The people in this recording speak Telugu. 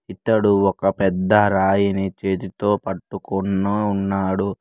ఇతడు ఒక పెద్ద రాయిని చేతితో పట్టుకున్న ఉన్నాడు.